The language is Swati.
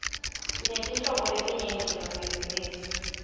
sinetetinhlobo letinyenti temabhizinisi